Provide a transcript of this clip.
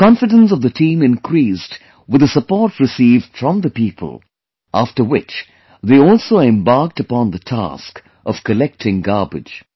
The confidence of the team increased with the support received from the people, after which they also embarked upon the task of collecting garbage